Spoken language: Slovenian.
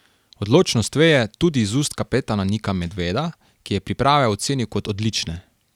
Odločnost veje tudi iz ust kapetana Nika Medveda, ki je priprave ocenil kot odlične.